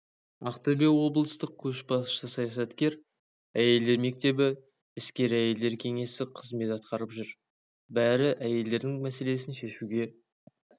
ақтөбе облыстық көшбасшы саясаткер әйелдер мектебі іскер әйелдер кеңесі қызмет атқарып жүр бәрі әйелдердің мәселесін шешуге